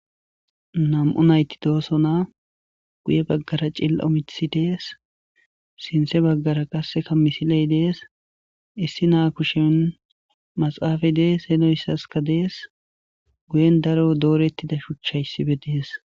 nam7u nayti dooso naa guye baggara cilla7o mithi dees sintse baggara qasseka misiley dees issi naa kushen maxaafay dees henoyssaska dees guyen daro doorettida shuchchayssibe dees